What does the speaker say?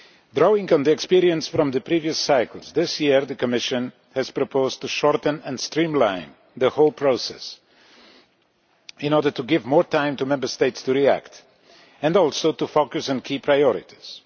Drawing on experience from the previous cycles, this year the Commission has proposed to shorten and streamline the whole process in order to give Member States more time to react and also to focus on key priorities.